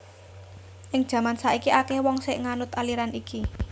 Ing jaman saiki akèh wong sing nganut aliran iki